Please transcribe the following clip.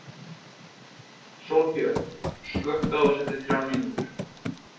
Sólbjörn, slökktu á þessu eftir þrjár mínútur.